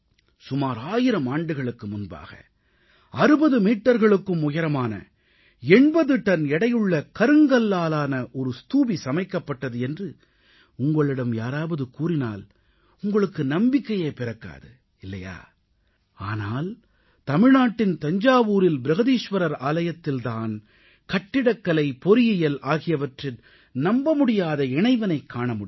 சுமார் 1000 ஆண்டுகளுக்கு முன்பாக 60 மீட்டர்களுக்கும் உயரமான 80 டன் எடையுள்ள கருங்கல்லாலான ஒரு ஸ்தூபி சமைக்கப்பட்டது என்று உங்களிடம் யாராவது கூறினால் உங்களுக்கு நம்பிக்கையே பிறக்காது இல்லையா ஆனால் தமிழ்நாட்டின் தஞ்சாவூரில் பிரகதீஸ்வரர் ஆலயத்தில் தான் கட்டிடக்கலை பொறியியல் ஆகியவற்றின் நம்ப முடியாத இணைவினைக் காண முடிகிறது